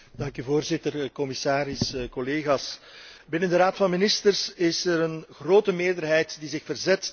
Binnen de Raad van ministers is er een grote meerderheid die zich verzet tegen het toelaten van commerciële ggo teelten.